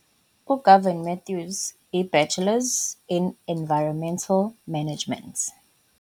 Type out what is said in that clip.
U-Gavin Mathews, i-Bachelors in environmental management.